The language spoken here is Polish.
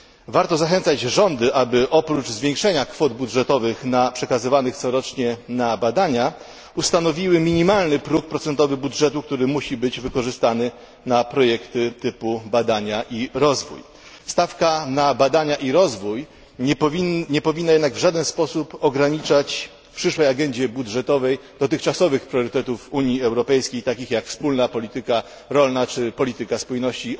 Warto zachęcać rządy, aby oprócz zwiększenia kwot budżetowych przekazywanych corocznie na badania, ustanowiły minimalny próg procentowy budżetu, który musi być wykorzystany na projektu typu badania i rozwój. Stawka na badania i rozwój nie powinna jednak w żaden sposób ograniczać w przyszłej agendzie budżetowej dotychczasowych priorytetów Unii Europejskiej, takich jak Wspólna Polityka Rolna czy polityka spójności.